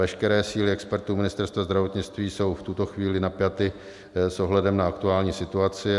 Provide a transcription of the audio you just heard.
Veškeré síly expertů Ministerstva zdravotnictví jsou v tuto chvíli napjaty s ohledem na aktuální situaci.